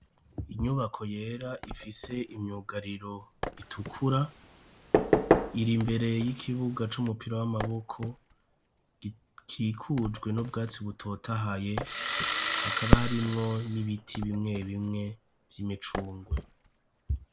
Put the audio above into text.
Inyubako yera, ifise imyugariro itukura ,iri mbere y'ikibuga c'umupira w'amaboko, gikikujwe n'ubwatsi butota haye, hakaba harimwo n'ibiti bimwe bimwe vy'imicungwe..